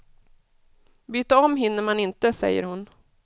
Byta om hinner man inte, säger hon.